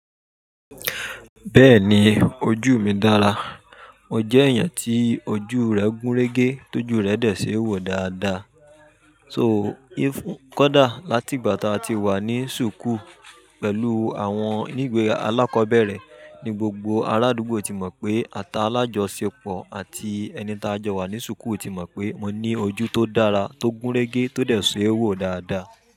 Bẹ́ẹ̀ni ojú mi dára, mo jẹ́ èèyàn tí ojú rẹ̀ gún régé, ti ojú rẹ̀ dẹ̀ ṣe é wò dáadáa. Kódà láti ìgbà tí a ti wà ní ṣùkú pẹ̀lú àwọn ilẹ iwe alákọ̀ọ́bẹ̀rẹ̀, ní gbogbo arádúgbò ti mọ̀ pé ati ala jo ṣepọ̀ àti ẹni tí a jọ wà ní ṣùkú ti mọ̀ pé mo ní ojú tó dára, tó gún régé, tó dẹ̀ ṣe é wò dáadáa.